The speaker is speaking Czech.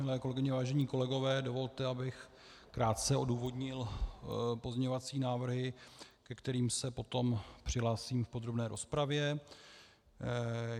Milé kolegyně, vážení kolegové, dovolte, abych krátce odůvodnil pozměňovací návrhy, ke kterým se potom přihlásím v podrobné rozpravě.